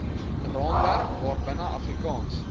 raamwerk waarbinne afrikaans